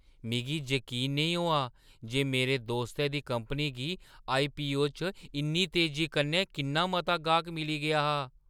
मिगी जकीन नेईं होआ जे मेरे दोस्तै दी कंपनी गी आईपीओ च इन्नी तेजी कन्नै किन्ना मता गाह्क मिली गेआ हा।